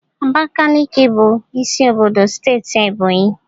Abakaliki bụ isi obodo steeti Ebonyi.